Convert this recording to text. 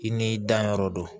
I n'i danyɔrɔ don